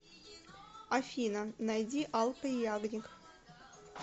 афина найди алка ягник